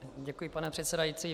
Děkuji, pane předsedající.